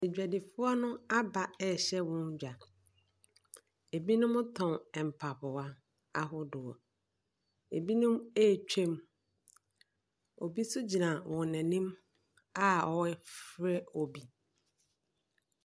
Adwadifoɔ no aba rehyɛ wɔn dwa. Ebinom tɔn mpaboa ahodoɔ. Ebinom retwam. Obi nso gyina wɔn anim a ɔrefrɛ obi.